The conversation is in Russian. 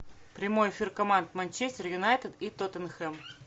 прямой эфир команд манчестер юнайтед и тоттенхэм